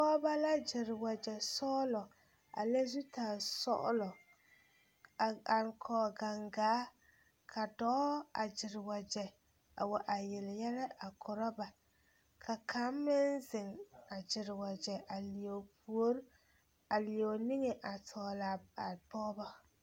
Pɔgeba la gyere wagyɛsɔglɔ a le zutaresɔglɔ a are kɔge gangaa ka dɔɔ a gyere wagyɛ a wa a yele yɛlɛ a korɔ ba ka kaŋ meŋ zeŋ a gyere wagyɛ a leɛ o puori a leɛ o niŋe a tɔgle a pɔgeba.